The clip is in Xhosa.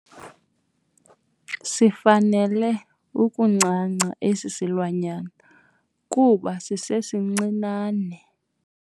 Sifanele ukuncanca esi silwanyana kuba sisesincinane.